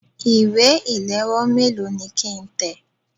Ìwé ìléwọ́ méèló ni kí ń tẹ̀?